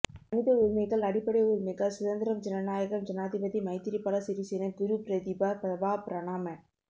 மனித உரிமைகள் அடிப்படை உரிமைகள் சுதந்திரம் ஜனநாயகம் ஜனாதிபதி மைத்ரிபால சிறிசேன குருபிரதிபா பிரபா பிரணாம